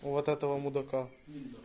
вот этого мудака